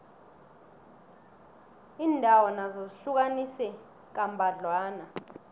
iindawo nazo zihlukaniswe kambadlwana